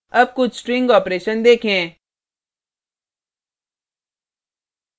अब कुछ string operations देखें